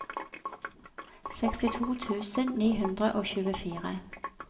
sekstito tusen ni hundre og tjuefire